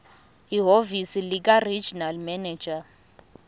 ehhovisi likaregional manager